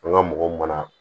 An ka mɔgɔw mara